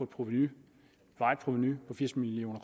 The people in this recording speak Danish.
provenu varigt provenu på firs million